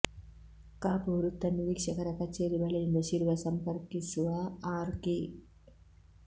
ಕಾಪು ವೃತ್ತ ನಿರೀಕ್ಷರ ಕಚೇರಿ ಬಳಿಯಿಂದ ಶಿರ್ವ ಸಂಪರ್ಕಿಸುವ ಆರು ಕಿ